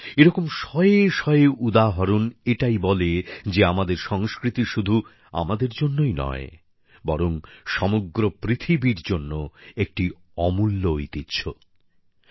বন্ধুরা এরকম শয়ে শয়ে উদাহরণ এটাই বলে যে আমাদের সংস্কৃতি শুধু আমাদের জন্যই নয় বরং সমগ্র পৃথিবীর জন্য একটি অমূল্য ঐতিহ্য